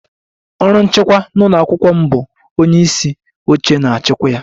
Ọrụ nchịkwa n'ụlọ akwụkwọ m bu onye isi oche na-achịkwa ya